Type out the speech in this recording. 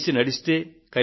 కలసి నడిస్తే